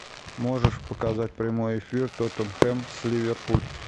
можешь показать прямой эфир тоттенхэм с ливерпуль